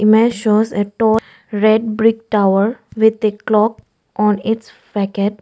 image shows a tall red brick tower with a clock on its .